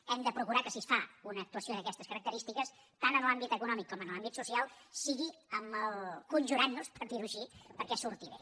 hem de procurar que si es fa una actuació d’aquestes característiques tant en l’àmbit econòmic com en l’àmbit social sigui conjurant nos per dir ho així perquè surti bé